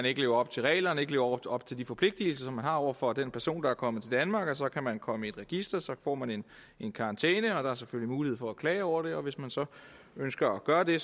ikke lever op til reglerne ikke lever op til de forpligtelser som man har over for den person der er kommet til danmark så kan man komme i et register og så får man en karantæne der er selvfølgelig mulighed for at klage over det og hvis man så ønsker at gøre det